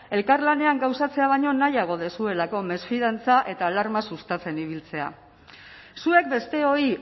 elkarlanean gauzatzea baino nahiago duzuelako mesfidantza eta alarma sustatzen ibiltzea zuek besteoi